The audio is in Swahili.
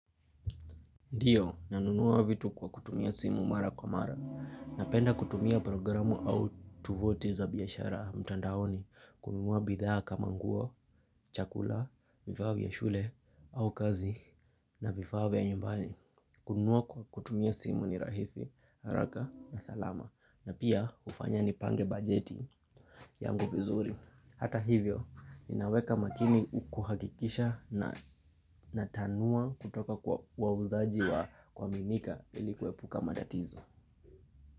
Ndiyo, nanunua vitu kwa kutumia simu mara kwa mara, napenda kutumia programu au tovuti za biaashara mtandaoni, kununua bidhaa kama nguo, chakula, vifaa vya shule, au kazi, na vifaa vya nyumbani. Kununua kwa kutumia simu ni rahisi, haraka na salama, na pia ufanya nipange bajeti yangu vizuri. Hata hivyo, inaweka makini ukuhakikisha natanua kutoka kwa wauzaji wa kuaminika ili kuepuka matatizo.